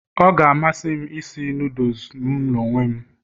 Ọ ga-amasị m isi noodles m n'onwe m